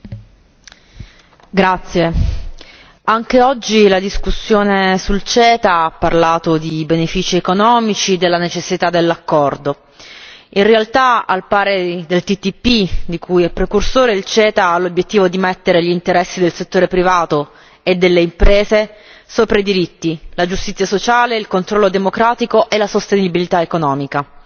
Signor Presidente, onorevoli colleghi, anche oggi la discussione sul CETA ha parlato di benefici economici, della necessità dell'accordo. In realtà, al pari del TTIP, di cui è precursore, il CETA ha l'obiettivo di mettere gli interessi del settore privato e delle imprese sopra i diritti, la giustizia sociale, il controllo democratico e la sostenibilità economica.